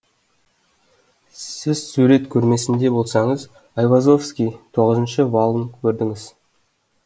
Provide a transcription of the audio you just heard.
сіз сурет көрмесінде болсаңыз айвазовский тоғызыншы валын көрдіңіз